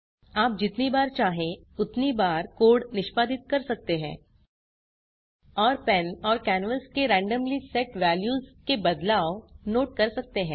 आप जितनी बार चाहें उतनी बार कोड निष्पादित कर सकते हैं और पेन और कैनवास के रेन्डम्ली सेट वेल्यूज के बदलाव नोट कर सकते हैं